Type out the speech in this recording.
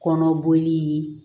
Kɔnɔ boli